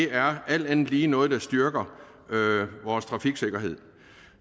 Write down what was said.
er alt andet lige noget der styrker vores trafiksikkerhed